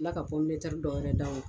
Kila ka dɔwɛrɛ da o